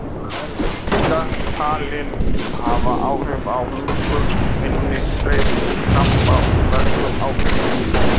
Þau eru líka talin hafa áhrif á hungur, minni, streitu, krampa og verkun áfengis.